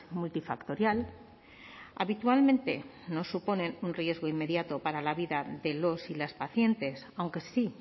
multifactorial habitualmente no suponen un riesgo inmediato para la vida de los y las pacientes aunque sí